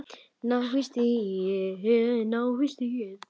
Ná í stigið.